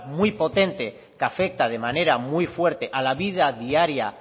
muy potente que afecta de manera muy fuerte a la vida diaria